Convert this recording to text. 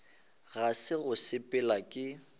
ga se go sepela ke